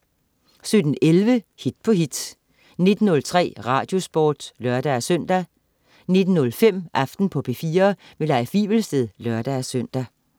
17.11 Hit på hit 19.03 Radiosporten (lør-søn) 19.05 Aften på P4. Leif Wivelsted (lør-søn)